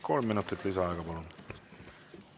Kolm minutit lisaaega, palun!